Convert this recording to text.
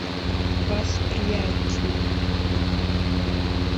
восприятие